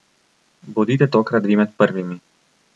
Bodite tokrat vi med prvimi!